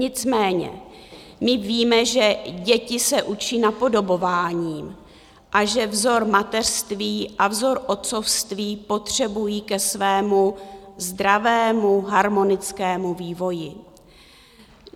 Nicméně my víme, že děti se učí napodobováním a že vzor mateřství a vzor otcovství potřebují ke svému zdravému, harmonickému vývoji.